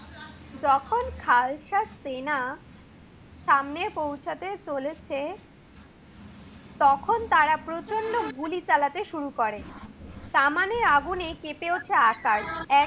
যখন খালতা সেনা সামনে পৌঁছাতে চলেছে তখন তারা প্রচণ্ড গুলি চালানো শুরু করে। কামানের আগুনে কেপে উঠে আকাশ।